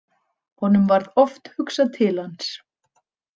Honum varð oft hugsað til hans.